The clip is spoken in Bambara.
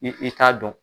I i t'a dɔn